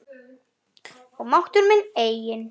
Og máttur minn einnig.